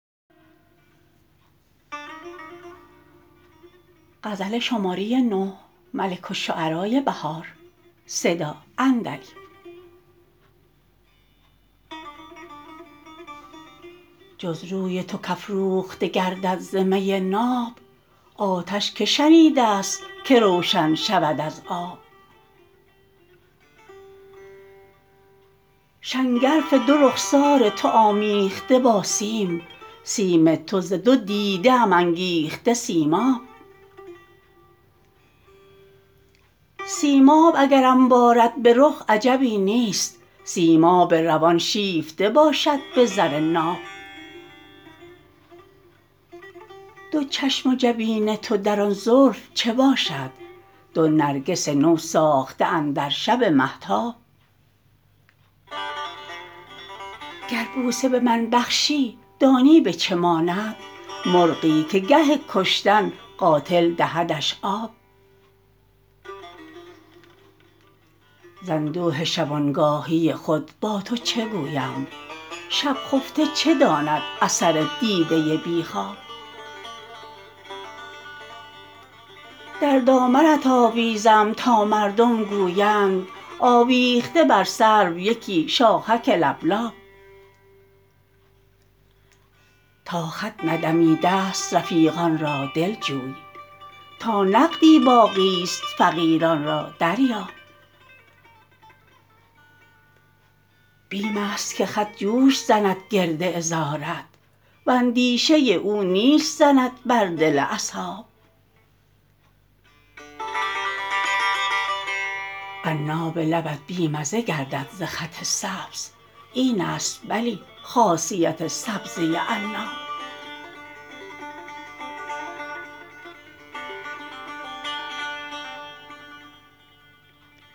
جز روی تو کافروخته گردد ز می ناب آتش که شنیده است که روشن شود از آب شنگرف دو رخسار تو آمیخته با سیم سیم تو ز دو دیده ام انگیخته سیماب سیماب اگرم بارد به رخ عجبی نیست سیماب روان شیفته باشد به زر ناب دو چشم و جبین تو در آن زلف چه باشد دو نرگس نو ساخته اندر شب مهتاب گربوسه به من بخشی دانی به چه ماند مرغی که گه کشتن قاتل دهدش آب ز اندوه شبانگاهی خود با تو چه گویم شب خفته چه داند اثر دیده ی بی خواب در دامنت آویزم تا مردم گویند آوبخته بر سرو یکی شاخک لبلاب تا خط ندمیده است رفیقان را دل جوی تا نقدی باقی است فقیران را دریاب بیم است که خط جوش زند گرد عذارت و اندیشه او نیش زند بر دل اصحاب عناب لبت بی مزه گردد ز خط سبز اینست بلی خاصیت سبزه عناب